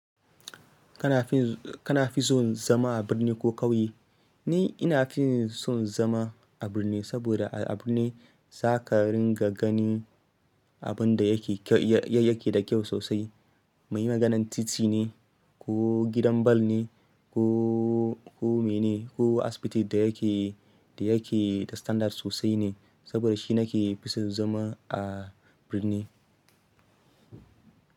Kana fi son zama a birni ko ƙauye? Ni ina fi son zama a birni, saboda a birni za ka ringa gani abin da yake da kyau sosai. Maiyuyuwa ganin titi ne, ko gidan ball ne, ko mene, ko asibiti da yake, da yake da standard sosai ne. Saboda shi nake fi son zama a birni.